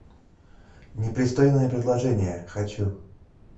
непристойное предложение хочу